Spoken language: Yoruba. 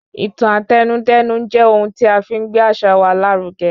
Ìtàn Àtẹnudẹ́nu jẹ́ ohun tí afi n gbé àṣà wa lárugẹ.